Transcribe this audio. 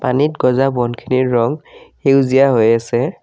পানীত গজা বনখিনিৰ ৰং সেউজীয়া হৈ আছে।